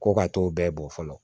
Ko ka t'o bɛɛ bɔ fɔlɔ